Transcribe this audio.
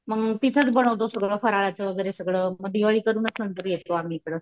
मम तिथेच बनवतो सगळं फराळाचं वगैरे सगळं मग दिवाळी करूनच नंतर येतो आम्ही इकडं .